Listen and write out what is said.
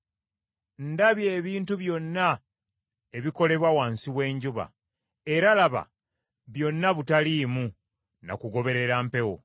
Ndabye ebintu byonna ebikolebwa wansi w’enjuba; era laba, byonna butaliimu na kugoberera mpewo.